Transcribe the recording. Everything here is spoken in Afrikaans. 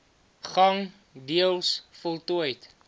gang deels voltooid